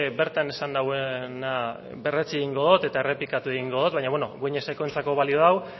bertan esan nauena berretsi egingo dut eta errepikatuko egin dut baina beno gueñeskoentzat balio dau